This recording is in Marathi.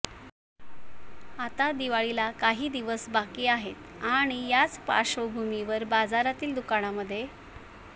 आता दिवाळीला काही दिवस बाकी आहेत आणि याच पार्श्वभूमीवर बाजारातील दुकानांमध्ये